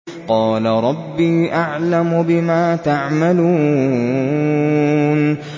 قَالَ رَبِّي أَعْلَمُ بِمَا تَعْمَلُونَ